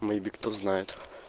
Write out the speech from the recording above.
кто знает